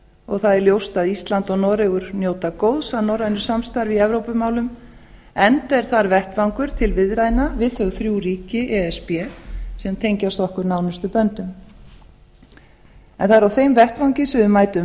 og það er ljóst að ísland og noregur njóta góðs af norrænu samstarfi í evrópumálum enda er þar vettvangur til viðræðna við þau þrjú ríki e s b sem tengjast okkur nánustu böndum það er á þeim vettvangi sem við mætum